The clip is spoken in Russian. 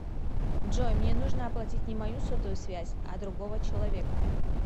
джой мне нужно оплатить не мою сотовую связь а другого человека